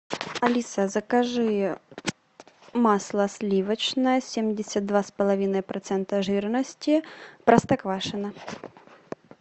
алиса закажи масло сливочное семьдесят два с половиной процента жирности простоквашино